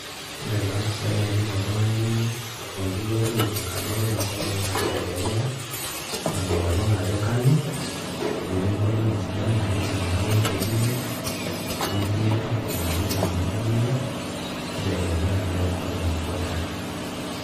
Ore taa imbisai naidiim oltung'ani olfundiii lol tukutuk anoto tengol naa kitegemea ina olong' ajo kanu ketii nkolong'i sidan naa kiidim anoto inkeek imet netii kulie torrok naa keidim anoto mia naa kitegemea naa enkolong' ajo kanu